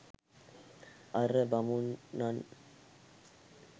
අර බමුණන්